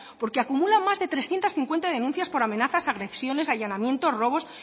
porque acumulan más de trescientos cincuenta denuncias por amenazas agresiones allanamiento robos